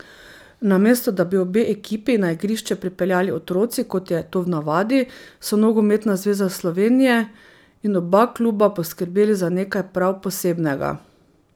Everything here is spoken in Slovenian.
Namesto da bi obe ekipi na igrišče pripeljali otroci, kot je to v navadi, so Nogometna zveza Slovenije in oba kluba poskrbeli za nekaj prav posebnega.